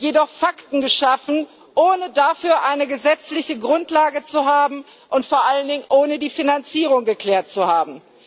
jedoch Fakten geschaffen, ohne dafür eine gesetzliche Grundlage zu haben und vor allen Dingen ohne die Finanzierung geklärt zu haben.